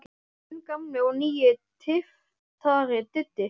Þinn gamli og nýi tyftari, Diddi.